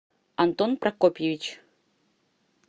антон прокопьевич